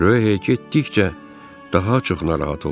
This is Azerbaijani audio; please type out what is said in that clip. Röhey getdikcə daha çox narahat olurdu.